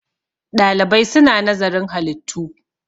ɗalibai suna nazarin halittu